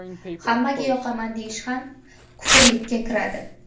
Hammaga yoqaman deyish ham kufrlikka kiradi.